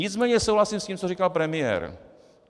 Nicméně souhlasím s tím, co říkal premiér.